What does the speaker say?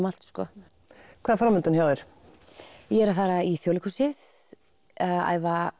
allt hvað er framundan hjá þér ég er að fara í Þjóðleikhúsið að æfa